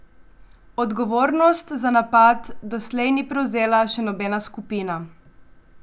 Odgovornost za napad doslej ni prevzela še nobena skupina.